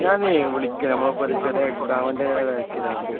ഞാനേ വിളിക്കാം നമ്മളിപ്പോൾ ചെറിയൊരു എക്സാമിൻറെ തിരക്കിലാണ്.